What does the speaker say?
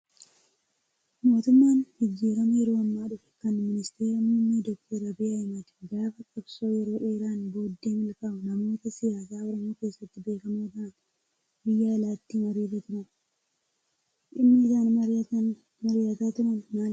Mootummaan jijjiiramaa yeroo ammaa dhufe kan ministeera muummee doktar Abiyyi Ahmad gaafa qabsoo yeroo dheeraan booddee milkaa'u namoota siyaasa oromoo keessatti beekamoo ta'an biyya alaatti mariirra turan. Dhimmi isaan mari'ataa turan maalidhaa?